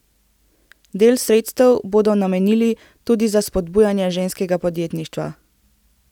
Del sredstev bodo namenili tudi za spodbujanje ženskega podjetništva.